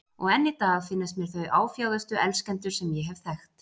Og enn í dag finnast mér þau áfjáðustu elskendur sem ég hef þekkt.